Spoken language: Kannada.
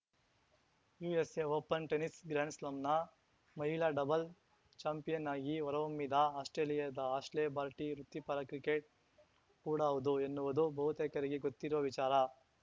ಯುಎಸ್‌ಎ ಓಪನ್‌ ಟೆನಿಸ್‌ ಗ್ರ್ಯಾಂಡ್‌ಸ್ಲಾಂನ ಮಹಿಳಾ ಡಬಲ್ ಚಾಂಪಿಯನ್‌ ಆಗಿ ಹೊರಹೊಮ್ಮಿದ ಆಸ್ಪ್ರೇಲಿಯಾದ ಆಶ್ಲೆ ಬಾರ್ಟಿ ವೃತ್ತಿಪರ ಕ್ರಿಕೆಟ್ ಕೂಡ ಹೌದು ಎನ್ನುವುದು ಬಹುತೇಕರಿಗೆ ಗೊತ್ತಿರುವ ವಿಚಾರ